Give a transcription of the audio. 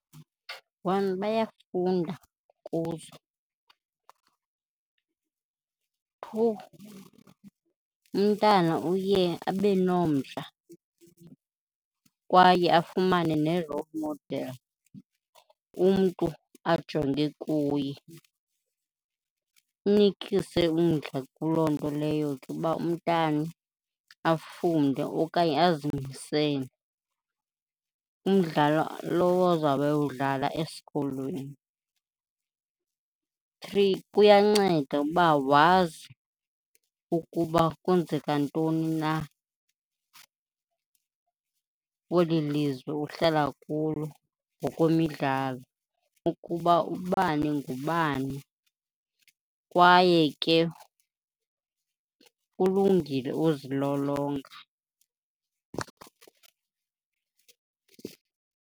One, bayafunda. Two, umntana uye abe nomdla kwaye afumane ne-role model, umntu ajonge kuye. Inikise umdla kuloo nto leyo ke uba umntana afunde okanye azimisele, umdlalo lowo azobe ewudlala esikolweni. Three, kuyanceda ukuba wazi ukuba kwenzeka ntoni na kweli lizwe uhlala kulo ngokwemidlalo ukuba ubani ngubani kwaye ke kulungile uzilolonga.